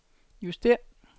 justér